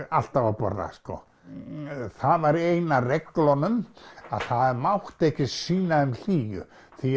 alltaf að borða það var ein af reglunum að það mátti ekki sýna þeim hlýju